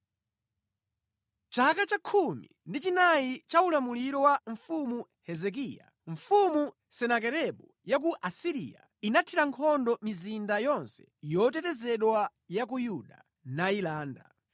Chaka cha khumi ndi chinayi cha ulamuliro wa Mfumu Hezekiya, Senakeribu mfumu ya ku Asiriya anathira nkhondo mizinda yonse yotetezedwa ya ku Yuda, nayilanda.